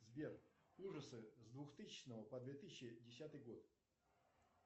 сбер ужасы с двухтысячного по две тысячи десятый год